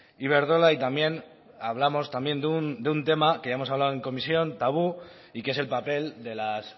iberdrola y también hablamos también de un tema que ya hemos hablado en comisión tabú y que es el papel de las